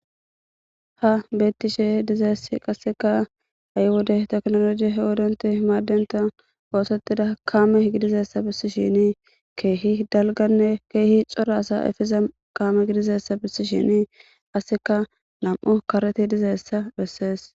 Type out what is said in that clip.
Ha bettishe dizaess qasseka aywode teknoloji h odonti hmaaddenta oosottida kaame gidizessa bissi shini keehi dalganne keehi cora asa efeza kaame gidizessa bissi shini asseka nam'u kareti dizeessa bessees.